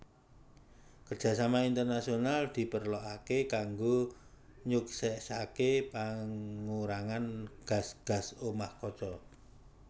Kerjasama internasional diperlokaké kanggo nyuksèsaké pangurangan gas gas omah kaca